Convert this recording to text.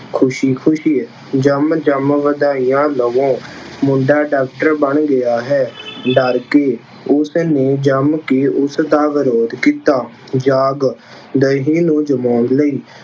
ਖੁਸ਼ੀ- ਖੁਸ਼ੀ- ਜੰਮ ਜੰਮ ਵਧਾਈਆਂ ਲਵੋ, ਮੁੰਡਾ ਡਾਕਟਰ ਬਣ ਗਿਆ ਹੈ। ਡੱਟ ਕੇ - ਉਸਨੇ ਜੰਮ ਕੇ ਉਸਦਾ ਵਿਰੋਧ ਕੀਤਾ। ਜਾਗ- ਦਹੀਂ ਨੂੰ ਜਮਾਉਣ ਲਈ